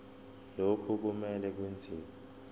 lokhu kumele kwenziwe